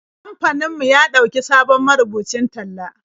Kamfanin mu ya ɗauki sabon marubucin talla.